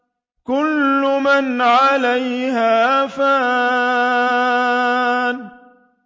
كُلُّ مَنْ عَلَيْهَا فَانٍ